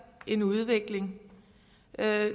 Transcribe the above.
en udvikling